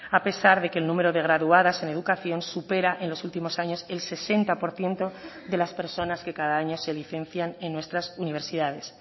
a pesar de que el número de graduadas en educación supera en los últimos años el sesenta por ciento de las personas que cada año se licencian en nuestras universidades